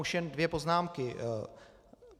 Už jen dvě poznámky.